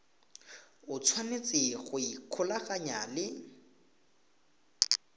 o tshwanetse go ikgolaganya le